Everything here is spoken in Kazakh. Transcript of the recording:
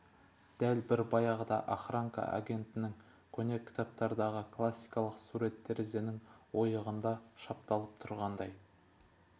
дәл бір баяғы охранка агентінің көне кітаптардағы классикалық сурет терезенің ойығында шапталып тұрғандай